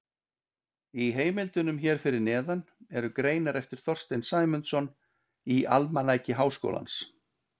Í heimildunum hér fyrir neðan eru greinar eftir Þorstein Sæmundsson í Almanaki Háskólans.